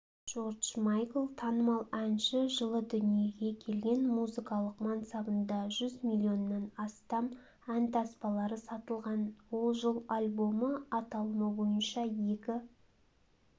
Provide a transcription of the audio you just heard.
джордж майкл танымал әнші жылы дүниеге келген музыкалық мансабында жүз миллионнан астам ән таспалары сатылған ол жыл альбомы аталымы бойынша екі